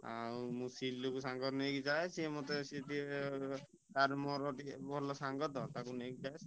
ଆଉ ମୁଁ ସିଲୁକୁ ସାଙ୍ଗରେ ନେଇକି ଯାଏ ସେ ମତେ ସେଠି ତା'ର ମୋର ଟିକେ ଭଲ ସାଙ୍ଗ ତ ତାକୁ ନେଇକି ଯାଏ।